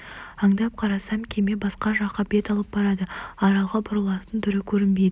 аңдап қарасам кеме басқа жаққа бет алып барады аралға бұрылатын түрі көрінбейді